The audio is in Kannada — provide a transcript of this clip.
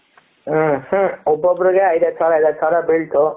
ಹ್ಮ್ ಹ್ಮಂ ಒಬ್ಬೊಬ್ಬರಿಗೆ ಐದು ಐದು ಸಾವಿರ ಐದು ಐದು ಸಾವಿರ ಬಿಳ್ತು,